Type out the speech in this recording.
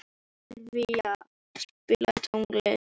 Silva, spilaðu tónlist.